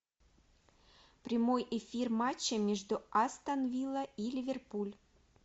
прямой эфир матча между астон вилла и ливерпуль